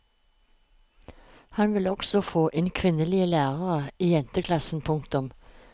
Han vil også få inn kvinnelige lærere i jenteklassen. punktum